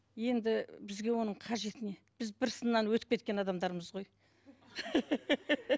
енді бізге оның қажеті не біз бір сыннан өтіп кеткен адамдармыз ғой